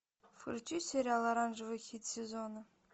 включи сериал оранжевый хит сезона